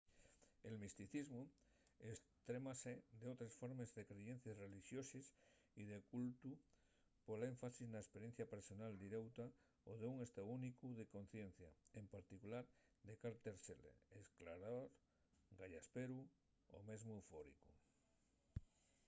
el misticismu estrémase d'otres formes de creyencies relixoses y de cultu pol énfasis na esperiencia personal direuta d'un estáu únicu de conciencia en particular de calter sele esclarador gayasperu o mesmo eufóricu